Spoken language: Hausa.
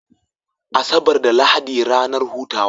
Asabar da lahadi ranar hutawa